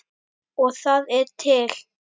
Og það er til!